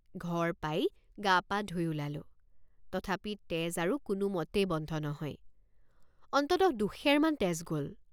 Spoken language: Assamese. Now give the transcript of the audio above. ঘৰ পাই গাপা ধুই ওলালোঁ। তথাপি তেজ আৰু কোনোমতেই বন্ধ নহয় অন্ততঃ দুসেৰমান তেজ গ'ল।